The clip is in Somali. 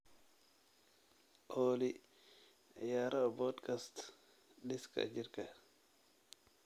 olly ciyaaro podcast-dhiska jirka